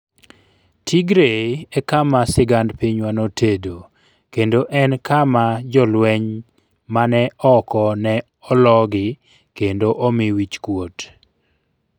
"Tigray e kama sigand pinywa notedo, kendo en kama jolweny mane oko ne ologi kendo omi wich kuot.